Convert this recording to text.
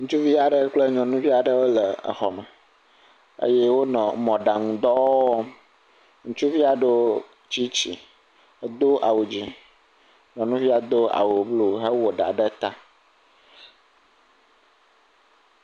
Ŋutsuvi aɖe kple nyɔnuvi aɖe wole xɔme eye wonɔ mɔɖaŋudɔ wɔm. Ŋutsuvia do tsitsi, edo awu dzɛ̃, nyɔnuvia do awu blu hewɔ ɖa ɖe ta.